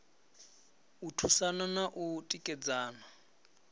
u thusana na u tikedzana